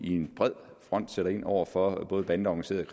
en bred front sætter ind over for bandeorganiseret